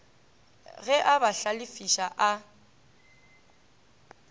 ge a ba hlalefiša a